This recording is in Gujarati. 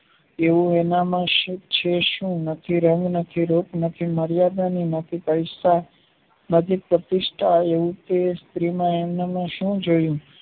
એવુ એનામા છે સુ નથી રંગ નથી રૂપ નથી મર્યાદા ને નથી પૈસા નથી પ્રતિસ્થા કે સ્ત્રીમાં એમને સુ જોયું